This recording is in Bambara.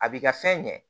A b'i ka fɛn ɲɛ